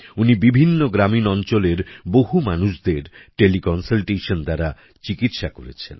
উনি বিভিন্ন গ্রামীণ অঞ্চলের বহু মানুষদের টেলি কন্সালটেশন দ্বারা চিকিৎসা করেছেন